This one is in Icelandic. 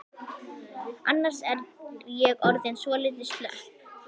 Annars er ég orðin svolítið slöpp.